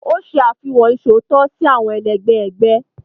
O ṣe àfihàn iṣootọ si awọn ẹlẹgbẹ ẹgbẹ.